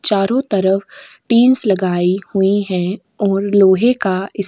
चारों तरफ टीन्स लगाई हुईं है और लोहे का इस --